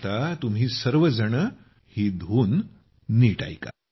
आता तुम्ही सर्व ही धून नीट ऐका